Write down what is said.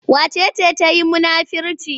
Wace ce ta yi munafirci?